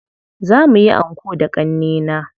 Za muyi anko da ƙannena.